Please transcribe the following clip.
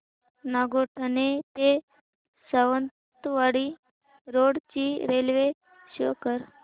नागोठणे ते सावंतवाडी रोड ची रेल्वे शो कर